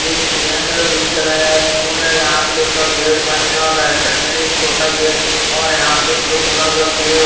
ये केन्द्र विद्यालय है स्कूल है यहां पे इसका गेट बंद है और राइट साइड में भी एक छोटा गेट और यहां पे ब्लू कलर का गेट ।